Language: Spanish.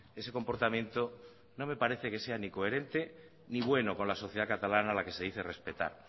ese comportamiento no me parece que sea ni coherente ni bueno con la sociedad catalana a la que se dice respetar